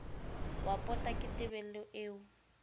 wa pota ke tebello eo